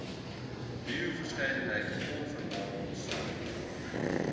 bioverskeidenheid grondverarming swak